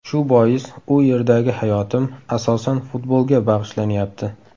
Shu bois u yerdagi hayotim, asosan, futbolga bag‘ishlanyapti.